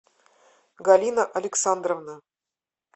галина александровна